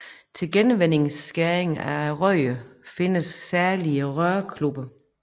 Til gevindskæring af rør findes særlige rørkluppe